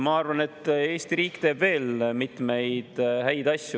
Ma arvan, et Eesti riik teeb veel mitmeid häid asju.